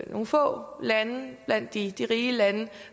nogle få lande blandt de de rige lande